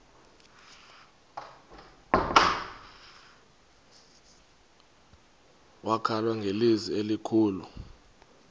wakhala ngelizwi elikhulu